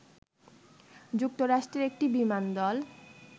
যুক্তরাষ্ট্রের একটি বিমান দল